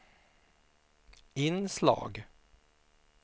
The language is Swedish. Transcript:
inslag